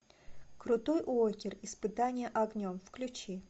крутой уокер испытание огнем включи